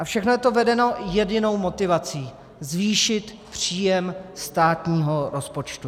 A všechno je to vedeno jedinou motivací: zvýšit příjem státního rozpočtu.